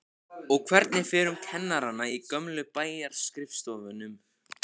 Og hvernig fer um kennarana í gömlu bæjarskrifstofunum?